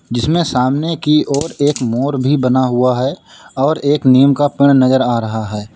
जिसमें सामने की ओर एक मोर भी बना हुआ है और एक नीम का पेड़ नजर आ रहा है।